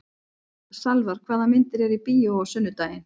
Salvar, hvaða myndir eru í bíó á sunnudaginn?